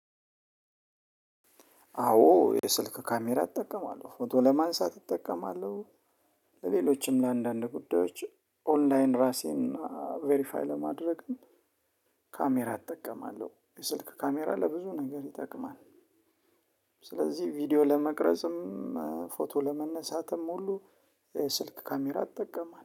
አዎ የስልክ ካሜራ እጠቀማለሁ ፎቶ ለማንሳት እጠቀማለሁ ለሌሎችም ለአንዳንድ ጉዳዮች ኦንላይን ራሴን ቬሪፋይ ለማድረግም ካሜራ እጠቀማለሁ የስልክ ካሜራ ለብዙ ነገር ይጠቅማል። ስለዚህ ቪዲዮ ለመቅረጽም ፎቶ ለመነሳትም ሁሉ የስልክ ካሜራ እጠቀማለሁ